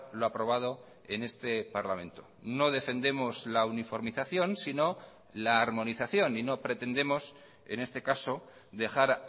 lo aprobado en este parlamento no defendemos la uniformización sino la armonización y no pretendemos en este caso dejar